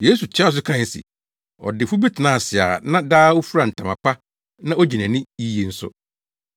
Yesu toaa so kae se, “Ɔdefo bi tenaa ase a na daa ofura ntama pa na ogye nʼani yiye nso.